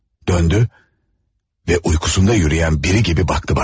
Döndü və yuxusunda yürüyən biri kimi baxdı mənə.